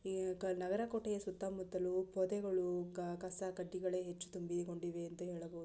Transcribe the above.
ನಗಾರಾ ಕೋಟೆಯ ಸುತ್ತಮುತ್ತಲು ಪೊದೆಗಳು ಕ-ಕಸ ಕಡ್ಡಿಗಳೇ ಹೆಚ್ಚು ತುಂಬಿಕೊಂಡಿದೆ ಅಂತ ಹೇಳಬಹುದು.